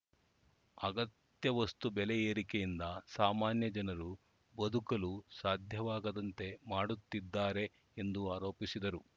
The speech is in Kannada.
ಅಗತ್ಯ ವಸ್ತು ಬೆಲೆ ಏರಿಕೆಯಿಂದ ಸಾಮಾನ್ಯ ಜನರು ಬದುಕಲು ಸಾಧ್ಯವಾಗದಂತೆ ಮಾಡುತ್ತಿದ್ದಾರೆ ಎಂದು ಆರೋಪಿಸಿದರು